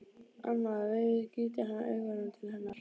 Annað veifið gýtur hann augunum til hennar.